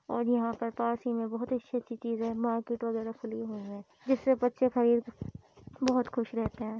और यहाँ पर पास ही मे बोहोत अच्छी अच्छी चीज़े है। मार्केट वगेरा खुली हुई है जिससे बच्चे खरीद बहुत खुश रहते है।